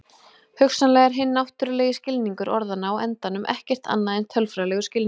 hugsanlega er hinn náttúrulegi skilningur orðanna á endanum ekkert annað en tölfræðilegur skilningur